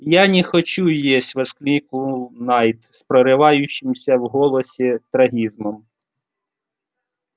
я не хочу есть воскликнул найд с прорывающимся в голосе трагизмом